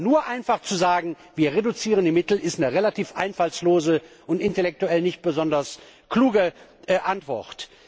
Aber nur einfach zu sagen, wir reduzieren die Mittel, ist eine relativ einfallslose und intellektuell nicht besonders kluge Antwort.